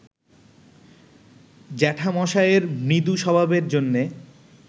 জ্যাঠামশাইয়ের মৃদু স্বভাবের জন্যে